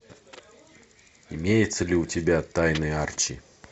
имеется ли у тебя тайны арчи